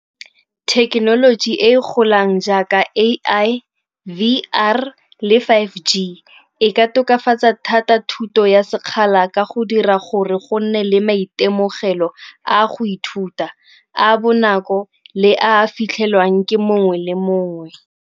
Thekenoloji e golang jaaka A_I, V_R le five G e ka tokafatsa thata thuto ya sekgala ka go dira gore go nne le maitemogelo a go ithuta, a a bonako le a fitlhelwang ke mongwe le mongwe.